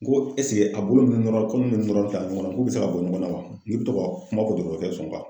N ko ɛsike a bolo nun nɔrɔ nunnu nɔrɔ tan ɲɔgɔn na k'u bɛ se ka bɔ ɲɔgɔn na wa n k'i bɛ to ka a kuma fɔ dɔtɔrɔkɛ ye sɔn